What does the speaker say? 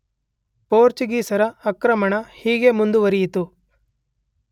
ಪೋರ್ಚುಗೀಸರ ಆಕ್ರಮಣ ಹೀಗೆ ಮುಂದುವರಿಯಿತು.